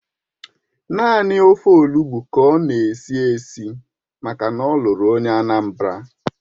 Naanị ofe Olugbu ka ọ na-esi esi maka na ọ lụrụ onye Anambra